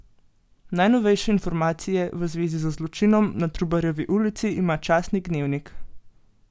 Najnovejše informacije v zvezi z zločinom na Trubarjevi ulici ima časnik Dnevnik.